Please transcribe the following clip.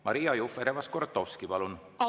Maria Jufereva-Skuratovski, palun!